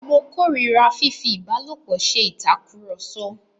Mo kó ìríra fífi ìbálòpọ̀ se ìtakùrọ̀sọ.